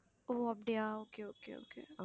ஓ அப்படியா okay okay okay